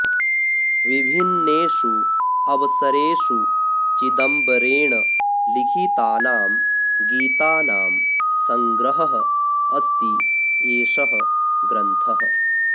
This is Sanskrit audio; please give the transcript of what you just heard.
विभिन्नेषु अवसरेषु चिदंबरेण लिखितानां गीतानां सङ्ग्रहः अस्ति एषः ग्रन्थः